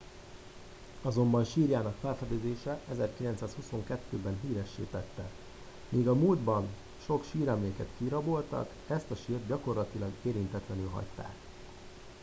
azonban sírjának felfedezése 1922 ben híressé tette míg a múltban sok síremléket kiraboltak ezt a sírt gyakorlatilag érintetlenül hagyták